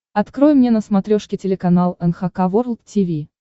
открой мне на смотрешке телеканал эн эйч кей волд ти ви